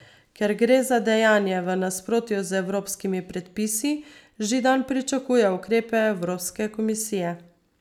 Ker gre za dejanje v nasprotju z evropskimi predpisi, Židan pričakuje ukrepe Evropske komisije.